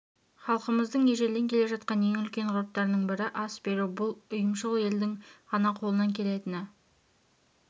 халқымыздың ежелден келе жатқан ең үлкен ғұрыптарының бірі ас беру бұл ұйымшыл елдің ғана қолынан келетіні